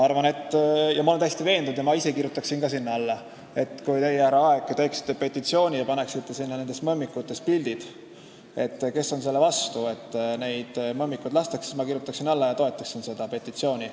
Ma olen täiesti veendunud, et kui teie, härra Aeg, koostaksite petitsiooni ja lisaksite sinna nende mõmmikute pildid, paludes alla kirjutada neil, kes on selle vastu, et neid mõmmikuid lastakse, siis mina kirjutaksin alla ja toetaksin seda petitsiooni.